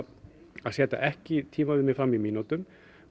að setja ekki tímaviðmið fram í mínútum